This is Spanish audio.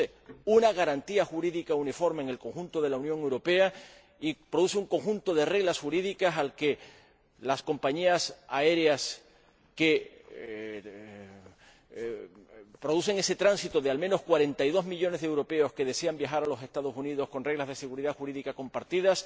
Introduce una garantía jurídica uniforme en el conjunto de la Unión Europea y produce un conjunto de reglas jurídicas que van a tener que cumplir las compañías aéreas, que se encargan de ese tránsito de al menos 42 millones de europeos que desean viajar a los Estados Unidos, con unas normas de seguridad jurídica compartidas,